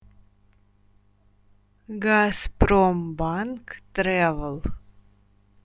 газпромбанк трэвл